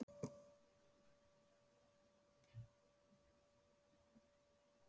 Bylgja, er bolti á fimmtudaginn?